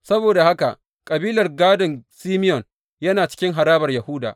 Saboda haka kabilar gādon Simeyon yana cikin harabar Yahuda.